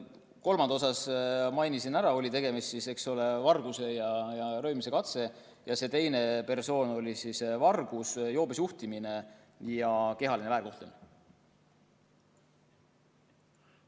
Kolmanda isiku kohta ma mainisin, et tegemist oli vargustega ja röövimise katsega, ning see teine persoon oli karistatud varguse, joobes juhtimise ja kehalise väärkohtlemise eest.